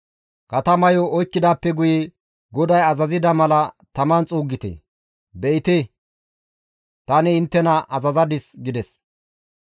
Katamayo oykkidaappe guye GODAY azazida mala taman xuuggite; be7ite tani inttena azazadis» gides.